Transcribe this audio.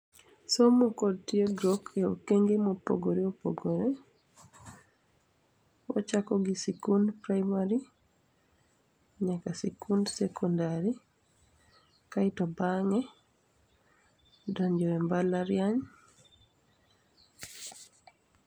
Somo kod tiegruok e okenge mopogore opogore. Wachako gi sikund primary, nyaka sikund secondary kaito bang'e wadonjo e mbala riany.